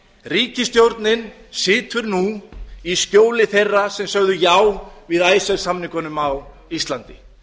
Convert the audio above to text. ríkisstjórnin situr nú í skjóli þeirra sem sögðu já við icesave samningunum á íslandi